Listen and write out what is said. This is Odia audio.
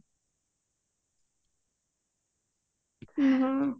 ଓହୋ